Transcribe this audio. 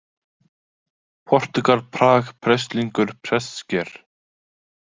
Portúgal, Prag, Prestlingur, Prestsker